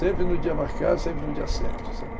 Sempre no dia marcado, sempre no dia certo, sabe?